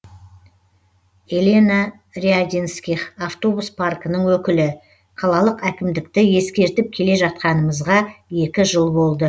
елена рядинских автобус паркінің өкілі қалалық әікмдікті ескертіп келе жатқанымызға екі жыл болды